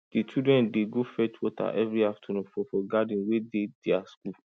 di children dey go fetch water every afternoon for for garden wey dey dia school